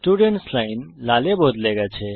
students line লাল এ বদলে যায়